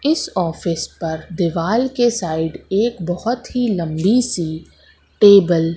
इस ऑफिस पर दीवाल के साइड एक बहोत ही लंबी सी टेबल --